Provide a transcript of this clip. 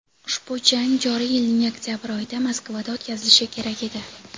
ushbu jang joriy yilning oktyabr oyida Moskvada o‘tkazilishi kerak edi.